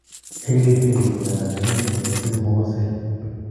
Hailey Hailey ko mnyando ne kiinti ne siru mokoseet.